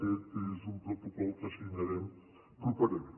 aquest és un protocol que signarem properament